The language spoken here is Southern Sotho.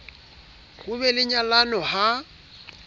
ho be le nyalano ha